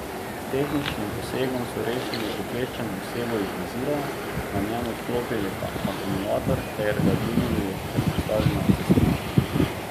S tehničnim posegom so rešili ukleščeno osebo iz vozila, na njem odklopili akumulator ter ga dvignili ter postavili na cestišče.